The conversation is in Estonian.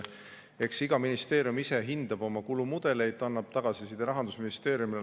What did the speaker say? Eks iga ministeerium ise hindab oma kulumudeleid, annab tagasiside Rahandusministeeriumile.